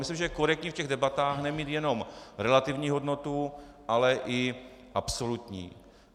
Myslím, že je korektní v těch debatách nemít jenom relativní hodnotu, ale i absolutní.